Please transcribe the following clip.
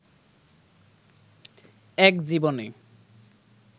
এক জীবনে